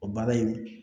O baara in